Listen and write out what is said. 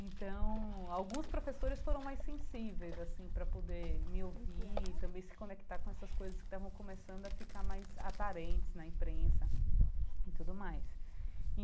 Então, alguns professores foram mais sensíveis, assim, para poder me ouvir e também se conectar com essas coisas que estavam começando a ficar mais aparentes na imprensa e tudo mais.